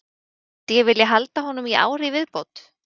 Myndi ég vilja halda honum í ár í viðbót?